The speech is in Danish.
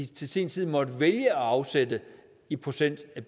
til sin tid måtte vælge at afsætte i procent af